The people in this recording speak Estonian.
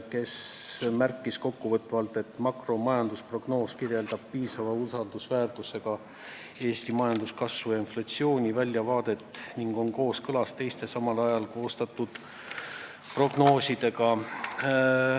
Ta märkis kokkuvõtvalt, et makromajandusprognoos kirjeldab piisava usaldusväärsusega Eesti majanduskasvu ja inflatsiooni väljavaadet ning on kooskõlas teiste samal ajal koostatud prognoosidega.